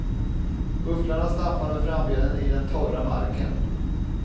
Bufflarna stampar med frambenen i den torra marken.